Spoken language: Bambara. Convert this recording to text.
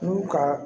N'u ka